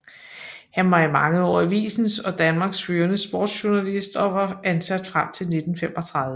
Han var i mange år avisens og Danmarks førende sportsjournalist og var ansat frem til 1935